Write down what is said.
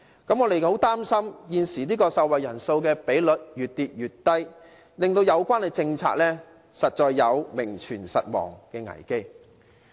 我們十分擔心受惠人數的比率越跌越低，令有關政策出現名存實亡的危機。